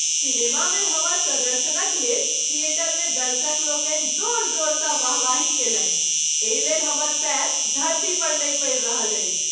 सिनेमामे हमर प्रदर्शनक लेल थिएटरमे दर्शकलोकनि जोर जोरसँ वाहवाही कयलनि, एहि लेल हमर पयर धरती पर नहि पड़ि रहल अछि।